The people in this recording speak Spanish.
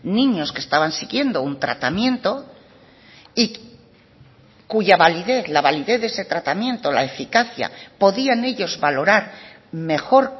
niños que estaban siguiendo un tratamiento y cuya validez la validez de ese tratamiento la eficacia podían ellos valorar mejor